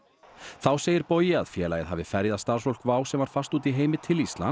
þá segir Bogi að félagið hafi ferjað starfsfólk WOW sem var fast úti í heimi til Íslands